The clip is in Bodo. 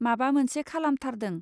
माबा मोनसे खालामथारदों